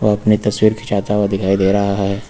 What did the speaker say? अपनी तस्वीर खींचाता हुआ दिखाई दे रहा है।